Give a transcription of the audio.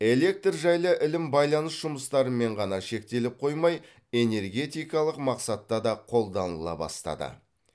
электр жайлы ілім байланыс жұмыстарымен ғана шектеліп қоймай энергетикалық мақсатта да қолданыла бастады